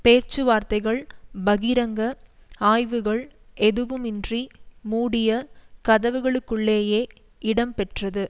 பேச்சுவார்த்தைகள் பகிரங்க ஆய்வுகள் எதுவுமின்றி மூடிய கதவுகளுக்குள்ளேயே இடம்பெற்றது